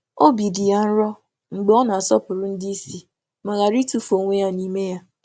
Ọ chọ̀tàrà ogo n’ịgọ̀zì ndị ndu, na-enweghị ịtụfù ikike ya ịtụfù ikike ya ijụ ajụjụ.